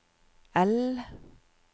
L